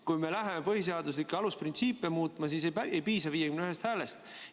Kui me läheme põhiseaduse alusprintsiipe muutma, siis ei piisa 51 häälest.